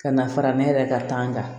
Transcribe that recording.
Ka na fara ne yɛrɛ ka kan kan